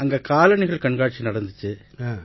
அங்க காலணிகள் கண்காட்சி நடந்திச்சு